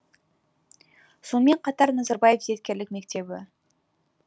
сонымен қатар назарбаев зияткерлік мектебі